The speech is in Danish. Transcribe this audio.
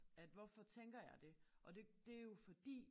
At hvorfor tænker jeg det og det det er jo fordi